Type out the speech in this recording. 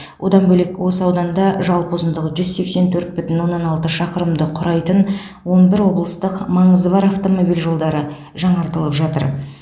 одан бөлек осы ауданда жалпы ұзындығы жүз сексен төрт бүтін оннан алты шақырымды құрайтын он бір облыстық маңызы бар автомобиль жолдары жаңартылып жатыр